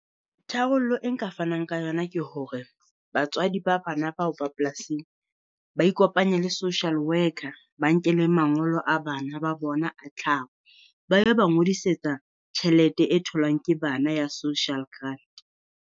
Tharollo e nka fanang ka yona ke hore batswadi ba bana bao ba polasing, ba ikopanye le social worker, ba nkele mangolo a bana ba bona a tlhaho. Ba yo ba ngodisetsa tjhelete e tholwang ke bana ya Social Grant.